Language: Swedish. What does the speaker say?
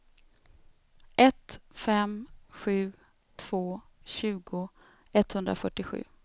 ett fem sju två tjugo etthundrafyrtiosju